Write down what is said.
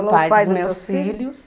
Foi o pai dos meus filhos.